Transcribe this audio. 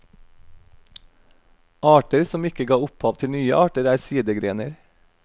Arter som ikke ga opphav til nye arter er sidegrener.